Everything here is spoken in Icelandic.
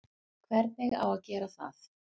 Hvernig á að gera það?